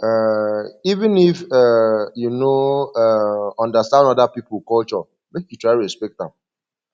um even if um you no um understand oda pipo culture make you try respect am